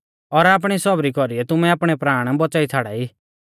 और आपणी सौबरी कौरीऐ तुमै आपणै प्राण बौच़ाई छ़ाड़ाई